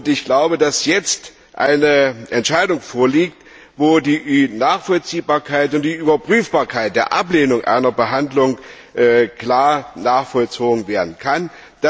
Ich glaube, dass jetzt eine Entscheidung vorliegt, bei der die Nachvollziehbarkeit und die Überprüfbarkeit der Ablehnung einer Behandlung klar nachvollzogen werden können.